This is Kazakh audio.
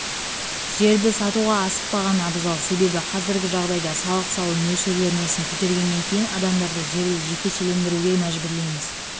жерді сатуға асықпаған абзал себебі қазіргі жағдайда салық салу мөлшерлемесін көтергеннен кейін адамдарды жерді жекешелендіруге мәжбүрлейміз